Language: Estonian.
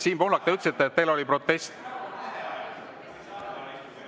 Siim Pohlak, ütlesite, et teil oli protest.